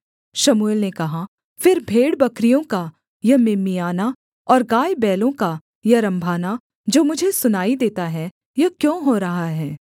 शमूएल ने कहा फिर भेड़बकरियों का यह मिमियाना और गायबैलों का यह रम्भाना जो मुझे सुनाई देता है यह क्यों हो रहा है